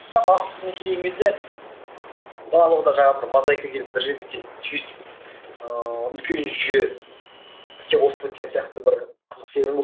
бірақ келген кезде барлығы да жаңағы бір мозайка келіп бір жерге келіп түйісіп ыыы үлкен жүйе іске қосылып кеткен сияқты бір қызық сезім болды